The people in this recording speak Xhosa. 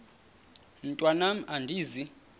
mntwan am andizi